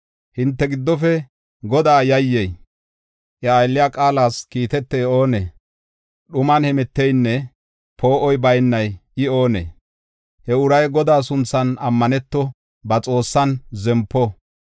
Hinte giddofe Godaa yayyey, iya aylliya qaalas kiitetey oonee? Dhuman hemeteynne poo7oy baynay I oonee? He uray Godaa sunthan ammaneto; ba Xoossan zempo.